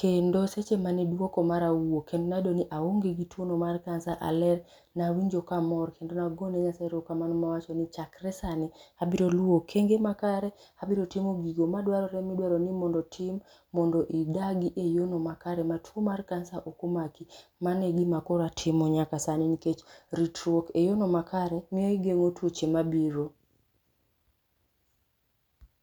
Kendo seche mane duoko mara owuok, kendo nayudo ni aonge gi tuono mar cancer, aler. Nawinjo ka amor kendo nagone Nyasaye erokamano mawacho ni chakre sani abiro luo okenge makare, abiro timo gigo madwarore midwaro ni tim mondo idagi e yo no makare ma tuo mar cancer okomaki. koro atimo nyaka sani miyo igeng’o tuoche mag.